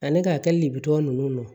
Ani ka hakili de bitɔ ninnu na